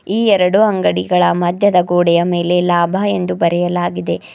ಈ ಎರಡೂ ಅಂಗಡಿಗಳ ಮದ್ಯದ ಗೋಡೆಯ ಮೇಲೆ ಲಾಭ ಎಂದು ಬರೆಯಲಾಗಿದೆ.